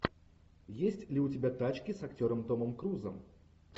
есть ли у тебя тачки с актером томом крузом